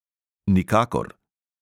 Nikakor.